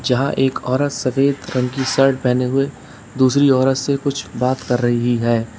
जहां एक औरत सफेद रंग की शर्ट पहने हुए दूसरी औरत से कुछ बात कर रही है।